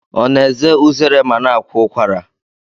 Ọ na-eze uzere ma na-akwa ụkwara?